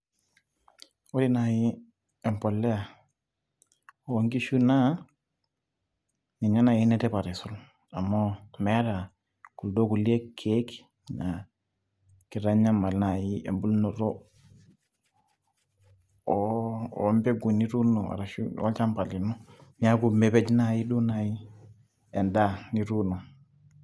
Ore nai empolea onkishu naa, ninye nai enetipat aisul. Amu meeta kuldo kulie keek na kitanyamal nai ebulunoto o mpeku nituuno arashu olchamba lino. Neeku mepej nai duo nai endaa nituuno.